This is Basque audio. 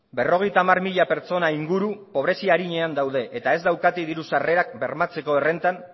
berrogeita hamar mila pertsona inguru pobrezia arinean daude eta ez daukate diru sarrerak bermatzeko errentan